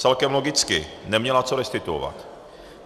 Celkem logicky, neměla co restituovat.